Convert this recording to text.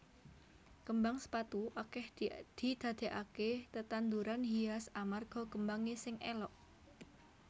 Kembang sepatu akèh didadèkaké tetanduran hias amarga kembangé sing élok